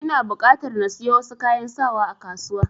Ina buƙatar na siyo wasu kayan sawa a kasuwa.